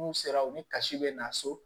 N'u sera u ni kasi bɛ na so